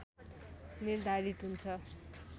निर्धारित हुन्छ